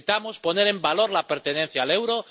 Necesitamos poner en valor la pertenencia al euro.